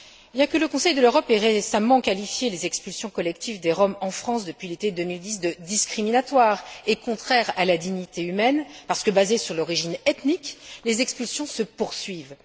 Bien que le Conseil de l'Europe ait récemment qualifié les expulsions collectives des Roms en France depuis l'été 2010 de discriminatoires et contraires à la dignité humaine, parce que basées sur l'origine ethnique, les expulsions se poursuivent.